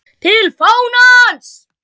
TIL FÁNANS